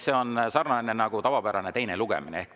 See on sarnane nagu tavapärasel teisel lugemisel.